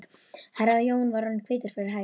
Herra Jón var orðinn hvítur fyrir hærum.